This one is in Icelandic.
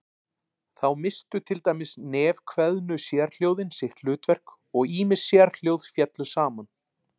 Þá misstu til dæmis nefkveðnu sérhljóðin sitt hlutverk og ýmis sérhljóð féllu saman.